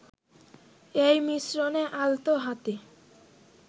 এই মিশ্রণে আলতো হাতে